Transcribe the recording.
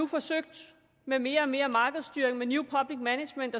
forsøgt med mere og mere markedsstyring med new public management